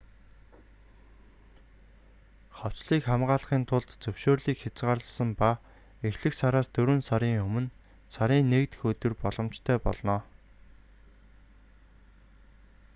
хавцлыг хамгаалахын тулд зөвшөөрлийг хязгаарласан ба эхлэх сараас дөрвөн сарын өмнө сарын 1 дэх өдөр боломжтой болно